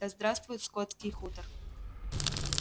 да здравствует скотский хутор